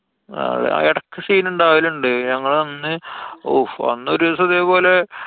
ആ ഇടക്ക് scene ഇണ്ടാവലുണ്ട്. ഞങ്ങളന്ന് ഊഫ്. അന്നോരീസം ഇതേ പോലെ.